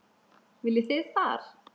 Viljið þið far?